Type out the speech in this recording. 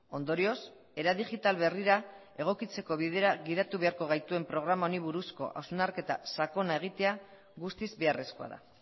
ondorioz era digital berrira egokitzeko bidera gidatu beharko gaituen programa honi buruzko hausnarketa sakona egitea guztiz beharrezkoa da